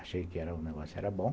Achei que o negócio era bom.